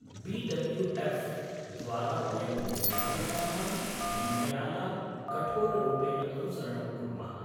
B W F द्वारा वयं निर्धारितानां विनियमानां कठोररूपेण अनुसरणं कुर्मः।